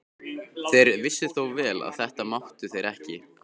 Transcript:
Þeir vissu þó vel að þetta máttu þeir ekki.